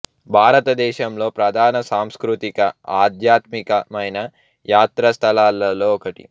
భారతదేశంలో ప్రధాన సాంస్కృతిక ఆధ్యాత్మిక మైన యాత్రా స్థలాల్లో ఒకటి